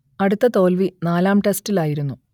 അടുത്ത തോൽവി നാലാം ടെസ്റ്റിലായിരുന്നു